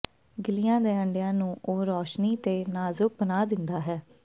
ਗਿੱਲੀਆਂ ਦੇ ਅੰਡਿਆਂ ਨੂੰ ਉਹ ਰੌਸ਼ਨੀ ਅਤੇ ਨਾਜ਼ੁਕ ਬਣਾ ਦਿੰਦਾ ਹੈ